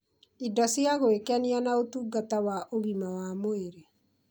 indo cia gwĩkenia na ũtungata wa ũgima wa mwĩrĩ